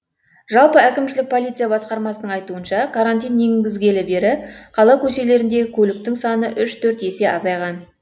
жалпы әкімшілік полиция басқармасының айтуынша карантин енгізілгелі бері қала көшелеріндегі көлік саны үш төрт есе азайған